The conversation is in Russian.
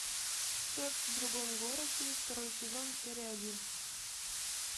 секс в другом городе второй сезон серия один